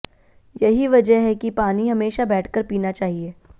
यही वजह है कि पानी हमेशा बैठकर पीना चाहिए